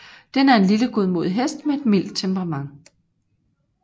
Den er en lille godmodig hest med et mildt temperament